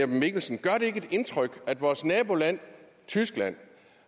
mikkelsen gør det ikke indtryk at i vores naboland tyskland